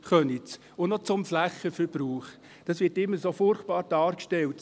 Zum Flächenverbrauch: Eine solche Wendeschlaufe wird immer als etwas Furchtbares dargestellt.